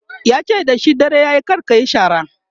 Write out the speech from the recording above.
yace da shi "dare yayi kar kayi shara!"